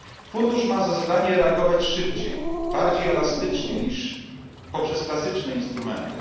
Fundusz ma za zadanie reagować szybciej, bardziej elastycznie niż poprzez klasyczne instrumenty.